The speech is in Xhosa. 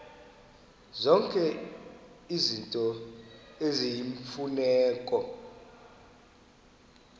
zonke izinto eziyimfuneko